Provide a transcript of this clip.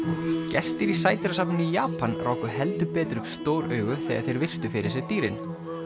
gestir í sædýrasafni í Japan ráku heldur betur upp stór augu þegar þeir virtu fyrir sér dýrin